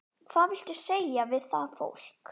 Hvað viltu segja við það fólk?